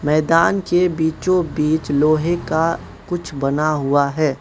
मैदान के बीचों बीच लोहे का कुछ बना हुआ है।